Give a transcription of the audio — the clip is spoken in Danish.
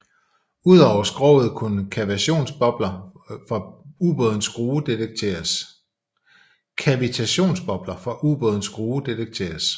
Udover skroget kunne kavitationsbobler fra ubådens skrue detekteres